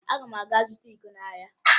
Aga m aga zụta iko n'ahịa